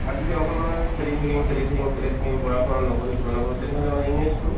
আৰু যদি অকনমান খেলি থাকিম খেলি থাকিম খেলি থাকিম পঢ়া-শুনা নকৰো কিবা নকৰো তেনেহ'লে মানে image তো